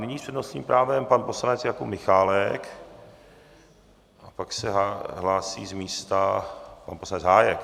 Nyní s přednostním právem pan poslanec Jakub Michálek a pak se hlásí z místa pan poslanec Hájek.